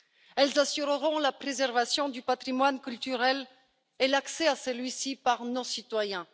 Elles assureront la préservation du patrimoine culturel et l'accès à celui ci par nos citoyens.